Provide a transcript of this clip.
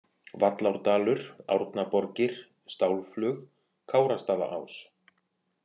Vallárdalur, Árnaborgir, Stálflug, Kárastaðaás